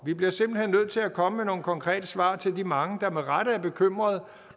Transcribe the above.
vi bliver simpelt hen nødt til at komme med nogle konkrete svar til de mange der med rette er bekymrede